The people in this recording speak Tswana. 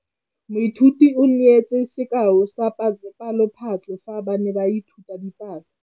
Moithuti o neetse sekaô sa palophatlo fa ba ne ba ithuta dipalo.